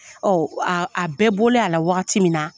a bɛɛ bɔlen a la waati min na